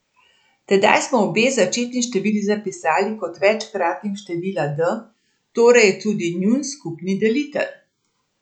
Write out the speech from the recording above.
Tedaj smo obe začetni števili zapisali kot večkratnik števila d, torej je to njun skupni delitelj.